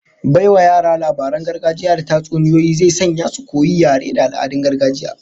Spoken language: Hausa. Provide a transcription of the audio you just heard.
Baiwa yara labaran gargajiya da tatsuniyoyi zai sanya su koyi yare da al'adun gargajiya